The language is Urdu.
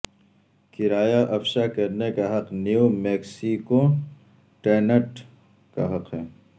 کرایہ افشاء کرنے کا حق نیو میکسیکو ٹیننٹ کا حق ہے